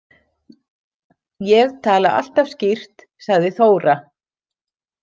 Ég tala alltaf skýrt, sagði Þóra.